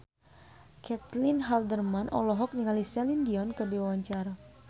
Caitlin Halderman olohok ningali Celine Dion keur diwawancara